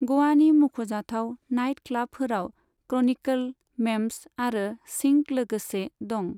ग'वानि मुंख'जाथाव नाइट क्लबफोराव क्रनिकल, मेम्बस आरो सिंक लोगोसे दं।